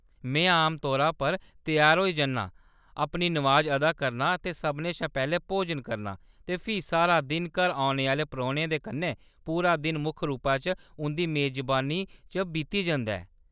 में आमतौरा पर त्यार होई जन्नां, अपनी नमाज अदा करनां, ते सभनें शा पैह्‌‌‌लें भोजन करनां ; ते फ्ही सारा दिन घर औने आह्‌‌‌ले परौह्‌ने दे कन्नै, पूरा दिन मुक्ख रूपै च उंʼदी मेजबानी च बीती जंदा ऐ।